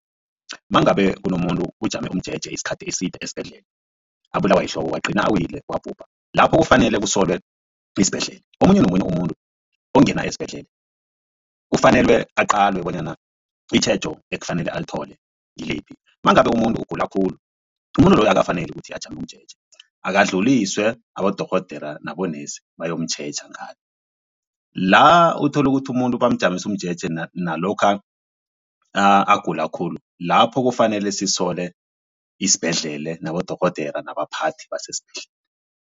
Mangabe kunomuntu ujame umjeje isikhathi eside esibhedlela abulawa yihloko wagcina awile wabhubha. Lapho kufanele kusolwe isibhedlela omunye nomunye umuntu ongena esibhedlela kufanele aqalwe bonyana itjhejo ekufanele alithole ngiliphi. Mangabe umuntu ugula khulu umuntu loyo akafaneli ukuthi ajame umjeje akadluliswe abodorhodera nabonesi bayomtjheja ngale. La uthola ukuthi umuntu bamjamise umjeje nalokha agula khulu lapho kufanele sisole isibhedlele nabodorhodere nabaphathi besesibhedlela.